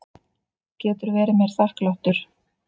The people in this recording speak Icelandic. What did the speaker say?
Getur verið mér þakklátur.